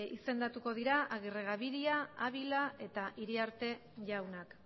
izendatuko dira agirregabiria abila eta iriarte jaunak